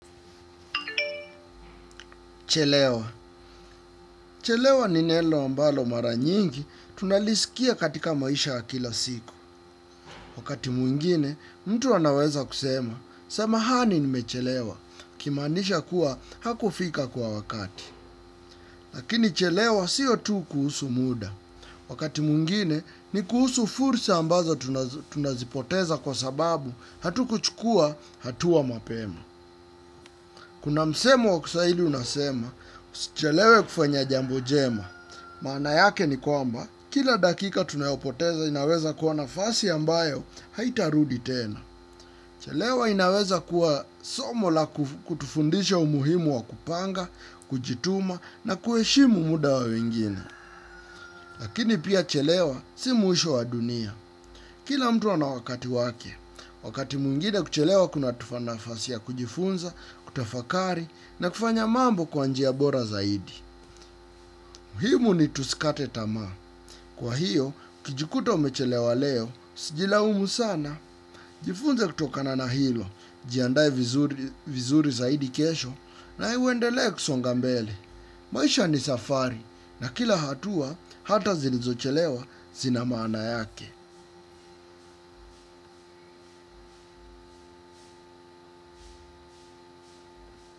Chelewa. Chelewa ni nelo ambalo mara nyingi tunalisikia katika maisha wa kila siku. Wakati mwingine, mtu anaweza kusema, semahani nimechelewa, akimaanisha kuwa hakufika kwa wakati. Lakini chelewa siyo tu kuhusu muda. Wakati mwingine, ni kuhusu fursa ambazo tunazipoteza kwa sababu hatukuchukua hatua mapema. Kuna msemo wa kiswahili unasema, usichelewe kufanya jambo jema. Maana yake ni kwamba, kila dakika tunayopoteza inaweza kuwa nafasi ambayo haitarudi tena. Chelewa inaweza kuwa somo la kutufundisha umuhimu wa kupanga, kujituma na kuheshimu muda wa wengine. Lakini pia chelewa si mwisho wa dunia. Kila mtu ana wakati wake, wakati mwingine kuchelewa kunatupa nafasi ya kujifunza, kutafakari na kufanya mambo kwa njia bora zaidi. Muhimu nitusikate tamaa. Kwa hiyo, ukijikuta umechelewa leo, usijilaumu sana. Jifunze kutokana na hilo, jiandae vizuri zaidi kesho na uendelee kusonga mbele. Maisha ni safari na kila hatua, hata zilizochelewa zina maana yake.